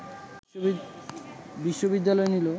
বিশ্ববিদ্যালয় নিল